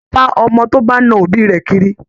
Êgùn yóò máa bá ọmọ tó bá na òbí rẹ̀ kiri